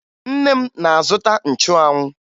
Nne m na-azụta nchụanwụ